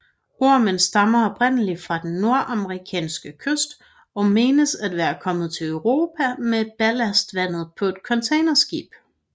Ormen stammer oprindeligt fra den Nordamerikanske kyst og menes at være kommet til Europa med ballastvandet på et containerskib